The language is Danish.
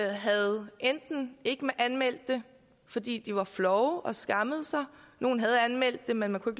havde ikke anmeldt det fordi de var flove og skammede sig nogle havde anmeldt det men man kunne